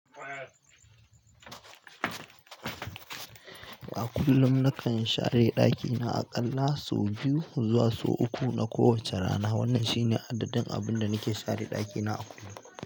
A kullum nakan share ɗakina aƙalla sau biyu zuwa sau uku na kowacce rana. Wannan shine adadin abinda nake share ɗakina a kullum.